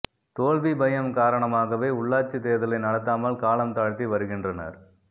தோல்வி பயம் காரணமாகவே உள்ளாட்சி தேர்தலை நடத்தாமல் காலம் தாழ்த்தி வருகின்றனர்